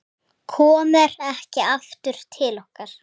Komir ekki aftur til okkar.